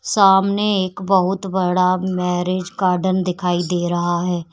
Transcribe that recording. सामने एक बहुत बड़ा मैरिज गार्डन दिखाई दे रहा है।